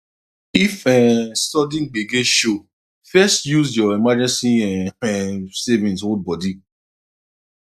if um sudden gbege show first use your emergency um um savings hold body